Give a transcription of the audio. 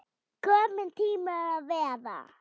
Komin til að vera?